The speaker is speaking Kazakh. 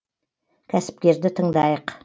кәсіпкерді тыңдайық